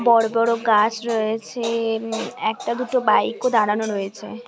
বড়ো বড়ো গাছ রয়েছে। একটা দুটো বাইক ও দাঁড়ানো রয়েছে ।